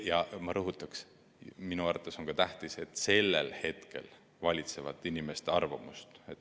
Ja ma rõhutan: minu arvates on tähtis, et sellel hetkel valitsevat inimeste arvamust.